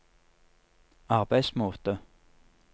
arbeidsmåte